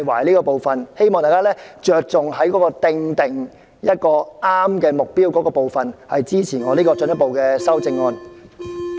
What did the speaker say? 我希望大家着重於訂立合適目標這部分，支持我進一步的修正案。